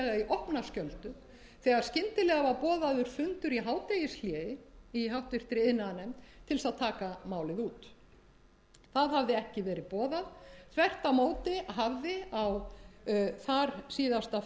opna skjöldu þegar skyndilega var boðaður fundur í hádegishléi í háttvirtri iðnaðarnefnd til þess að taka málið út það hafði ekki verið boðað þvert á móti hafði á þarsíðasta